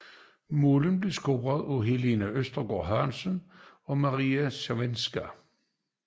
Målene blev scoret af Helene Østergaard Hansen og Maria Sevcikova